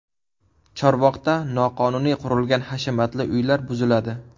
Chorvoqda noqonuniy qurilgan hashamatli uylar buziladi.